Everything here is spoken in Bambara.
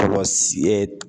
Tɔlɔsi